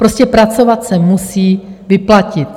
Prostě pracovat se musí vyplatit.